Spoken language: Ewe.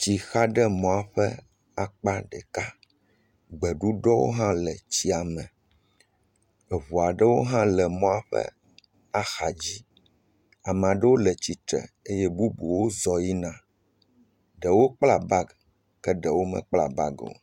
Tsi xa ɖe mɔa ƒe akpa ɖeka. Gbeɖuɖɔ hã le tsia me. Eŋu aɖewo hã le mɔ ƒe axadzi. ama ɖewo le tsitre eye bubuwo hã zɔ yina. Ɖewo kpla bagi ke ɖewo mekpla bagi o.